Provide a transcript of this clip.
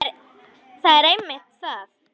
Það er einmitt það.